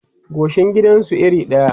goshin gidan su iri ɗaya